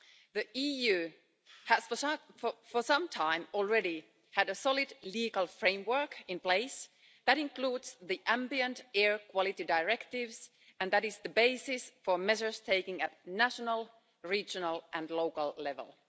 The EU has for some time already had a solid legal framework in place that includes the Ambient Air Quality Directives and is the basis for measures taken at national, regional and local levels.